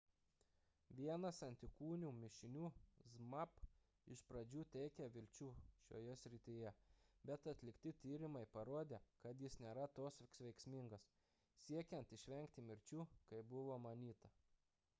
vienas antikūnių mišinių zmapp iš pradžių teikė vilčių šioje srityje bet atlikti tyrimai parodė kad jis nėra toks veiksmingas siekiant išvengti mirčių kaip buvo manyta